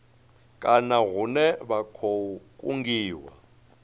kana hune vha khou kungiwa